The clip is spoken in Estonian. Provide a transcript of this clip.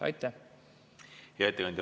Hea ettekandja!